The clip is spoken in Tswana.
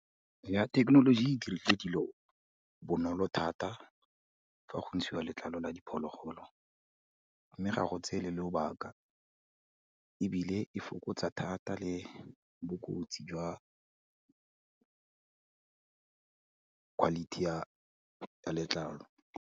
Ya thekenoloji e dirile dilo bonolo thata fa go ntshiwa letlalo la diphologolo, mme ga go tseye lo lobaka ebile, e fokotsa thata le bokotsi jwa quality ya letlalo.